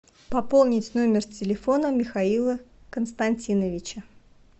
пополнить номер телефона михаила константиновича